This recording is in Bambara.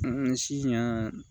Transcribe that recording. sisan